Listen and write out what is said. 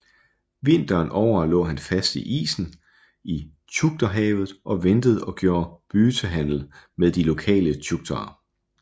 Vinteren over lå han fast i isen i Tjukterhavet og ventede og gjorde byytehandel med de lokale tjuktere